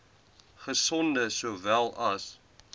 gesonde sowel as